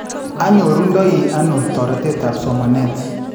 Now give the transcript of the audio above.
Anyorundoi ano toreteetaab somaneet?